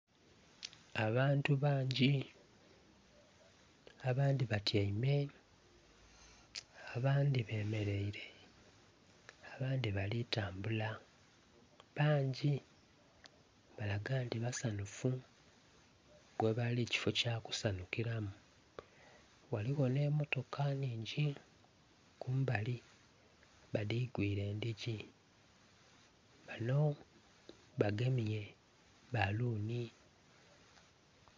Abantu bangi, abandhi batyaime, abandhi bemeleire. Abandhi bali tambula, bangi, balaga nti basanufu, ghebali kifo kyakusanukiramu, ghaligho n'emotoka nnhingi kumbali badhigwire endhigi, bano bagemye bbaluni.